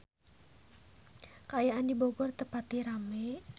Kaayaan di Bogor teu pati rame